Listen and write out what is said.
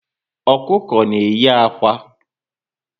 Ọkụkọ na eyi ákwà